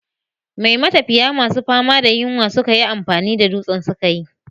Me matafiya masu fama da yunwa suka yi amfani da dutsen sukayi?